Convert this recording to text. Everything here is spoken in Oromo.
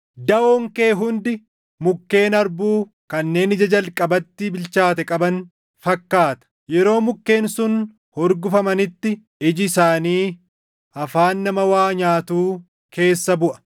Daʼoon kee hundi mukkeen harbuu kanneen ija jalqabatti bilchaate qaban fakkaata; yeroo mukkeen sun hurgufamanitti iji isaanii afaan nama waa nyaatuu keessa buʼa.